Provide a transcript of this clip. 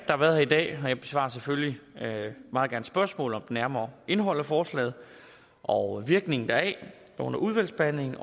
har været her i dag og jeg besvarer selvfølgelig meget gerne spørgsmål om det nærmere indhold af forslaget og virkningen deraf under udvalgsbehandlingen